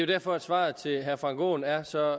derfor at svaret til herre frank aaen er så